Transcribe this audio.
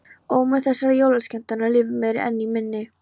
Ómur þessara jólaskemmtana lifir mér enn í minni.